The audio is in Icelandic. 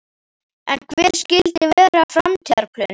En hver skyldu vera framtíðarplönin?